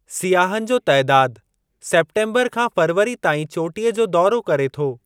सियाहनि जो तइदादु सेप्टेम्बरु खां फ़ेबरवरी ताईं चोटीअ जो दौरो करे थो।